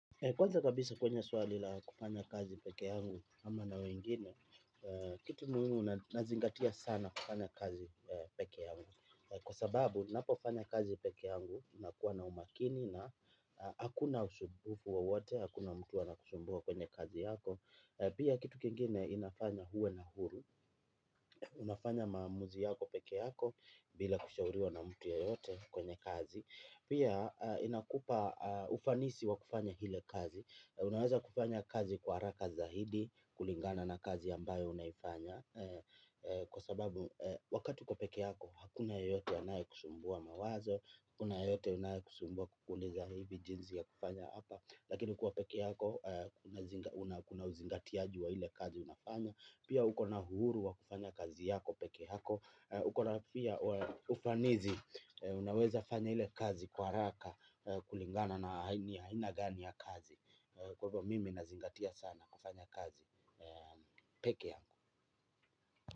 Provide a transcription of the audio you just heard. Kwanza kabisa kwenye swali la kufanya kazi peke yangu ama na wengine, kitu muhimu nazingatia sana kufanya kazi peke yangu. Kwa sababu, napofanya kazi peke yangu, nakuwa na umakini na hakuna usumbufu wowote, hakuna mtu anakusumbua kwenye kazi yako. Pia kitu kingine inafanya huwe na huru. Unafanya maamuzi yako peke yako, bila kushauriwa na mtu yeyote kwenye kazi. Pia inakupa ufanisi wa kufanya ile kazi. Unaweza kufanya kazi kwa haraka za hidi, kulingana na kazi yambayo unaifanya. Kwa sababu, wakati uko peke yako, hakuna yeyote anaye kusumbua mawazo, hakuna yeyote anaye kusumbua kukuuliza hivi jinzi ya kufanya hapa. Lakini kuwa peke yako, unakuna uzingati wa hile kazi unafanya. Pia huko na uhuru wa kufanya kazi yako peke yako. Uko na pia ufanisi, unaweza fanya ile kazi kwa haraka, kulingana na ni aina gani ya kazi. Kwa hivyo mimi nazingatia sana kufanya kazi peke yangu.